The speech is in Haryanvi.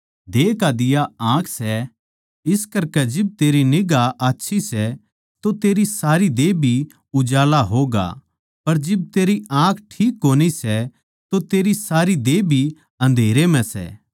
देह का दिवा आँख सै इस करकै जिब तेरी निगांह आच्छी सै तो तेरी सारी देह भी उजाळा होगा पर जिब तेरी आँख ठीक कोनी सै तो तेरी सारी देह भी अंधेरै म्ह सै